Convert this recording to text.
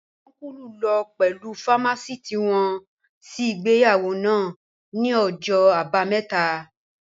Ọ́nkùlù lọ pẹ̀lú fámásìtì wọn sí ìgbéyàwó náà ní ọjọ́ àbámẹ́ta